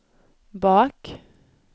bak